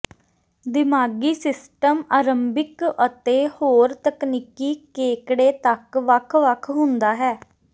ਦਿਮਾਗੀ ਸਿਸਟਮ ਆਰੰਭਿਕ ਅਤੇ ਹੋਰ ਤਕਨੀਕੀ ਕੇਕੜੇ ਤੱਕ ਵੱਖ ਵੱਖ ਹੁੰਦਾ ਹੈ